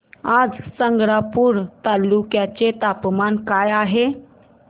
आज संग्रामपूर तालुक्या चे तापमान काय आहे